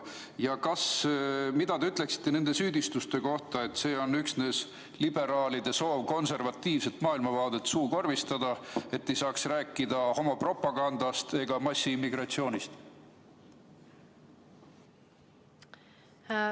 Ja mida te ütlete nende süüdistuste kohta, et see on üksnes liberaalide soov konservatiivset maailmavaadet suukorvistada, et ei saaks rääkida homopropagandast ega massiimmigratsioonist?